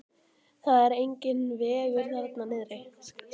Það er enginn vegur þarna niðri.